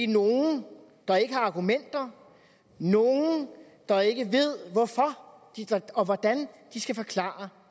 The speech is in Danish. nogen der ikke har argumenter nogen der ikke ved hvorfor og hvordan de skal forklare